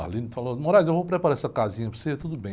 falou, eu vou preparar essa casinha para você, tudo bem.